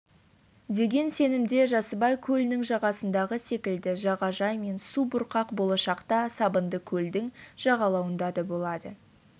деген сенімде жасыбай көлінің жағасындағы секілді жағажай мен су бұрқақ болашақта сабындыкөлдің жағалауында да болады